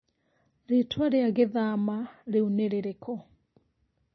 Rĩtwa rĩa gĩthama rĩu nĩ rĩrĩkũ?